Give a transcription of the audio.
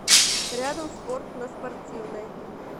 рядом спорт на спортивной